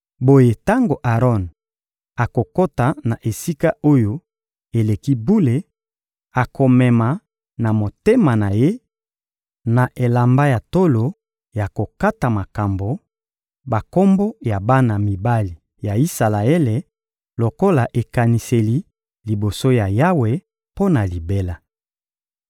Boye tango Aron akokota na Esika-Oyo-Eleki-Bule, akomema na motema na ye, na elamba ya tolo ya kokata makambo, bakombo ya bana mibali ya Isalaele lokola ekaniseli liboso ya Yawe mpo na libela.